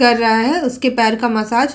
कर रहा है उसके पैर का मसाज --